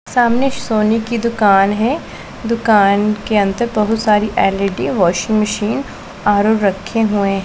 सामने सोनी की दुकान है दुकान के अंदर बहुत सारी एल_ई_डी वॉशिंग मशीन आर_ओ रखे हुए हैं।